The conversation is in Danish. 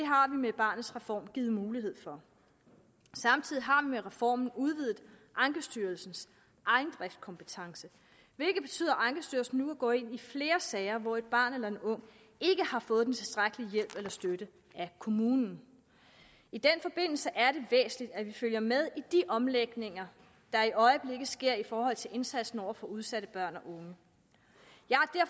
med barnets reform givet mulighed for samtidig har vi med reformen udvidet ankestyrelsens egendriftkompetence hvilket betyder at ankestyrelsen nu vil gå ind i flere sager hvor et barn eller en ung ikke har fået den tilstrækkelige hjælp eller støtte af kommunen i den forbindelse er det væsentligt at vi følger med i de omlægninger der i øjeblikket sker i forhold til indsatsen over for udsatte børn